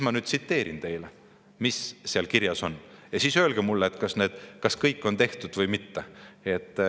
Ma ütlen teile, mis seal kirjas on, ja teie siis öelge mulle, kas kõik on tehtud või mitte.